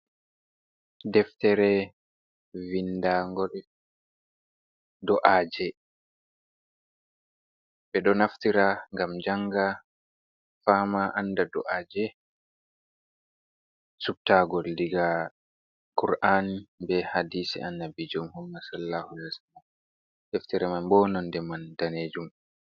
Deftere vindango do’aje, ɓe ɗo naftira ngam janga, fama, anda do’aje. Subta'ngol diga kur’an be hadisi Annabiju Muhammad SallahuAlyhiwasallam. Deftere man bo nonde man danejum.